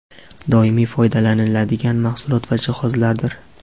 doimiy foydalaniladigan mahsulot va jihozlardir.